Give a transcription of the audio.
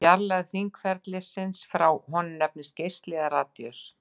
Fjarlægð hringferilsins frá honum nefnist geisli eða radíus.